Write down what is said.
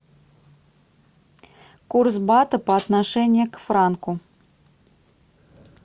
курс бата по отношению к франку